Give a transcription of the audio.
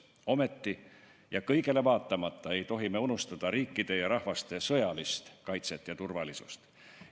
Samas ei tohi me kõigele vaatamata unustada riikide ja rahvaste sõjalist kaitset ja turvalisust.